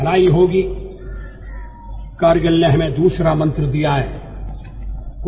అతను చేయబోయే కార్యం ఆ వ్యక్తి కి మంచిది కాదా అని అతను అనుకోవాలి